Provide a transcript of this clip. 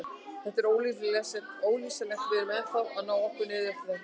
Þetta er ólýsanlegt, við erum ennþá að ná okkur niður eftir þetta.